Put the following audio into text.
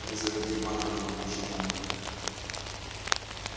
лизавета ивановна его прочитала